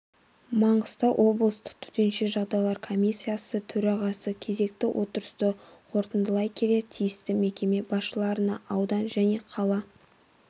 маңғыстау облыстық төтенше жағдайлар комиссиясы төрағасы кезекті отырысты қортындылай келе тиісті мекеме басшыларына аудан және қала